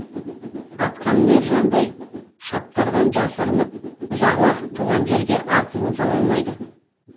атқамінер жандайшаптардан жасырынып ұзақ уақыт туған жерге ат ізін сала алмайды